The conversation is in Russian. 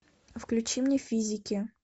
включи мне физики